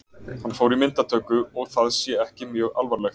Hann fór í myndatöku og það sé ekki mjög alvarlegt.